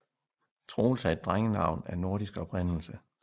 Troels er et drengenavn af nordisk oprindelse